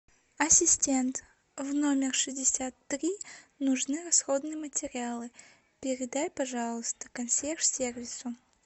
ассистент в номер шестьдесят три нужны расходные материалы передай пожалуйста консьерж сервису